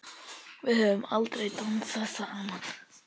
Við höfum aldrei dansað saman.